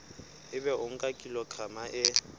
ebe o nka kilograma e